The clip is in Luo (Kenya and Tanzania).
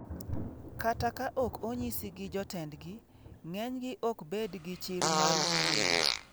Kata ka ok onyisi gi jotendgi, ng'enygi ok bed gi chir mar wuoyo.